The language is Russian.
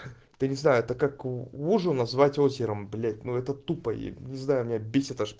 то не знаю это как лужу назвать озером блять ну это тупо я не знаю меня бесит аж